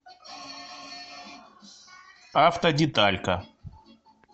автодеталька